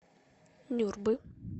нюрбы